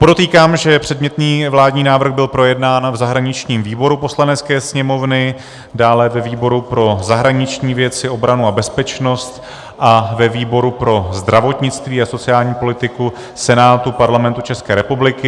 Podotýkám, že předmětný vládní návrh byl projednán v zahraničním výboru Poslanecké sněmovny, dále ve výboru pro zahraniční věci, obranu a bezpečnost a ve výboru pro zdravotnictví a sociální politiku Senátu Parlamentu České republiky.